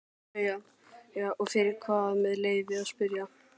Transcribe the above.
BAUJA: Og fyrir hvað með leyfi að spyrja?